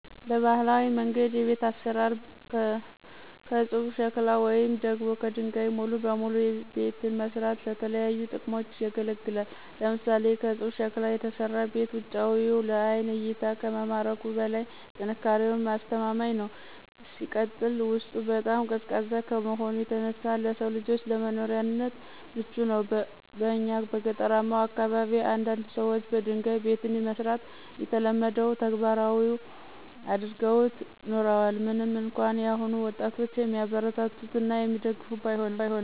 በባህላዊ መንገድ የቤት አሰራር ከፁብ ሸክላ ወይም ደግሞ ከደንጋይ ሙሉ በሙሉ ቤትን መስራት ለተለያዩ ጥቅሞች ያገለግላል። ለምሳሌ፦ ከፁብ ሸክላ የተሰራ ቤት ውጫዊው ለአይን እይታ ከመማረኩም በላይ ጥንካሬውም አስተማማኝ ነው። ሲቀጥል ውስጡ በጣም ቀዝቃዛ ከመሆኑ የተነሳ ለሰው ልጆች ለመኖሪያነት ምቹ ነው። በእኛ በገጠራማው አካባቢ አንዳንድ ሰዎች በደንጋይ ቤትን መስራት የተለመደው ተግባራቸው አድርገውት ኑረዋል ምንም እንኳን የአሁኑ ወጣጦች የሚያበረታቱት እና የሚደግፉት ባይሆንም።